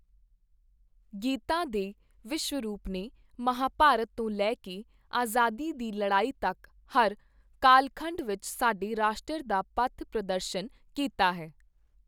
ਗੀਤਾ ਦੇ ਵਿਸ਼ਵਰੂਪ ਨੇ ਮਹਾਂਭਾਰਤ ਤੋਂ ਲੈ ਕੇ ਆਜ਼ਾਦੀ ਦੀ ਲੜਾਈ ਤੱਕ, ਹਰ ਕਾਲਖੰਡ ਵਿੱਚ ਸਾਡੇ ਰਾਸ਼ਟਰ ਦਾ ਪਥ-ਪ੍ਰਦਸ਼ਨ ਕੀਤਾ ਹੈ।